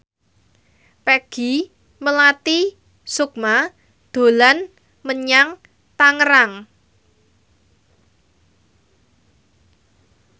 Peggy Melati Sukma dolan menyang Tangerang